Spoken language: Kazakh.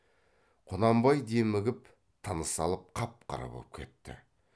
құнанбай демігіп тыныс алып қап қара боп кетті